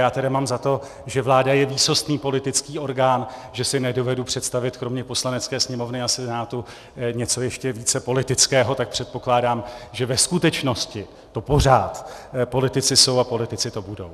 Já tedy mám za to, že vláda je výsostný politický orgán, že si nedovedu představit kromě Poslanecké sněmovny a Senátu něco ještě více politického, tak předpokládám, že ve skutečnosti to pořád politici jsou a politici to budou.